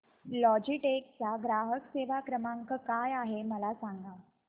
Logitech चा ग्राहक सेवा क्रमांक काय आहे मला सांगा